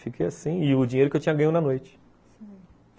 Fiquei assim, e o dinheiro que eu tinha ganho na noite.